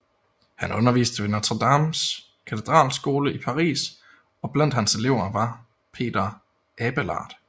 Han underviste ved Notre Dames katedralskole i Paris og blandt hans elever var Peter Abelard